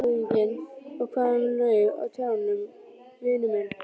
LANDSHÖFÐINGI: Og hvað um laufið á trjánum, vinur minn.